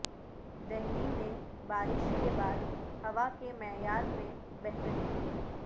دہلی میں بارش کے بعد ہوا کے معیار میں بہتری